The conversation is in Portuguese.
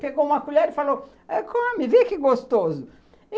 Pegou uma colher e falou, come, vê que gostoso.